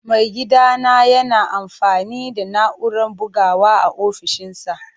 Maigidana yana amfani da na'urar bugawa a ofishinsa.